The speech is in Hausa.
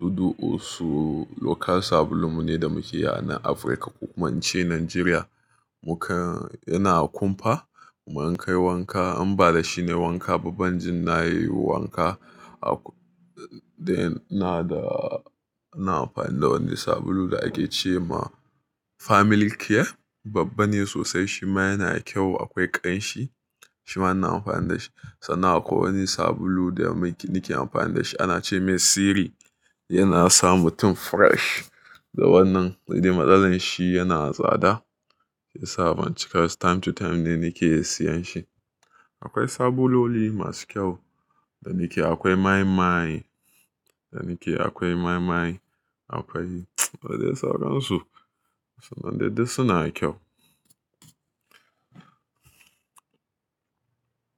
Dudu osun local sabulun mu ne da muke yi a nan Afirka ko kuma in ce Najeriya. Muka-- yana kumfa kuma in kai wanka an ba da shi nayi wanka ba ban jin na yi wanka. A-- dai na da, ina amfani da wani sabulu da ake ce ma family care. Babban ne sosai shi ma yana da kyau akwai ƙanshi shi ma ina amfani da shi. Sannan akwai wani sabulu da muke-- nake amfani da shi ana ce mai Siri. Yana sa mutum fresh da wannan dai matsalar shi yana tsada sai yasa ban cika, time to time ne nake siyan shi. Akwai sabuloli masu kyau da nake, akwai my my da nake, akwai my my akwai, da dai sauran su, sannan dai duk su na da kyau.